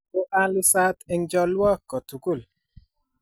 Ko a lusat eng' chalwok ko tugul